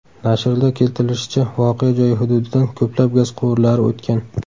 Nashrda keltirilishicha, voqea joyi hududidan ko‘plab gaz quvurlari o‘tgan.